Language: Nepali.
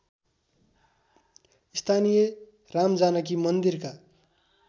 स्थानीय रामजानकी मन्दिरका